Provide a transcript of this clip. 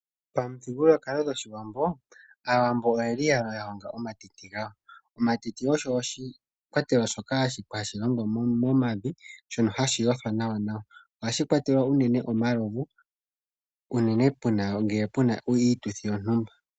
Aawambo pamuthigululwakwalo gwawo oye li ya honga iihuma yawo, mbyoka hayi hongwa meloya. Iiyuma oyo iikwatelwa yOshiwambo hayi longithwa uunene piituthi okukwatelwa omalovu.